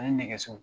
Ani nɛgɛso